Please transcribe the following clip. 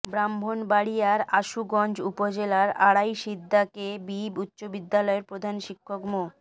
ব্রাহ্মণবাড়িয়ার আশুগঞ্জ উপজেলার Araisidha K B উচ্চ বিদ্যালয়ের প্রধান শিক্ষক মো